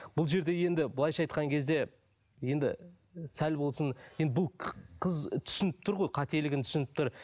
бұл жерде енді былайынша айтқан кезде енді сәл болсын енді бұл қыз түсініп тұр ғой қателігін түсініп тұр